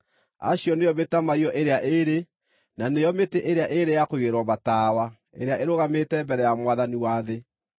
Acio nĩo mĩtamaiyũ ĩrĩa ĩĩrĩ, na nĩo mĩtĩ ĩrĩa ĩĩrĩ ya kũigĩrĩrwo matawa ĩrĩa ĩrũgamĩte mbere ya Mwathani wa thĩ.